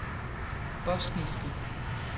bosniske